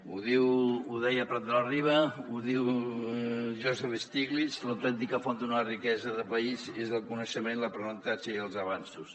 ho deia prat de la riba ho diu joseph stiglitz l’autèntica font d’una riquesa de país és el coneixement l’aprenentatge i els avanços